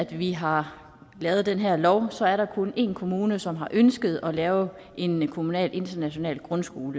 vi har lavet den her lov er der kun én kommune som har ønsket at lave en kommunal international grundskole